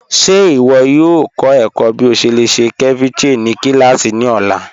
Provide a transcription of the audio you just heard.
Ṣe iwọ yoo kọ ẹkọ̀ bí o ṣe lè ṣe ceviche ni kílásí ni ọ̀la?